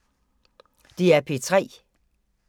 DR P3